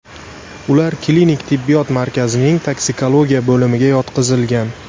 Ular klinik tibbiyot markazining toksikologiya bo‘limiga yotqizilgan.